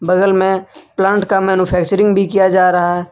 बगल मे प्लांट का मैन्युफैक्चरिंग भी किया जा रहा है।